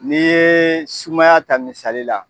N'i ye sumaya ta misali la